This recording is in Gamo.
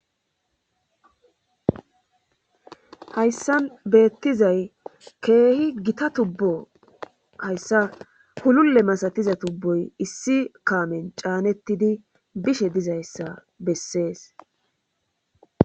hayssan beettizay keehi gita tubbo hayssa hululle masatiza tubboy issi kaamen caanettidi bishe dizayssa bessees